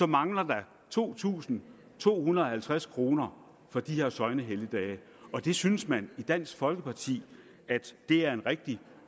mangler der to tusind to hundrede og halvtreds kroner for de her søgnehelligdage og det synes man i dansk folkeparti er en rigtig